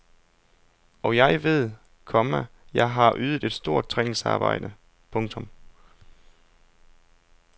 Og jeg ved, komma jeg har ydet et stort træningsarbejde. punktum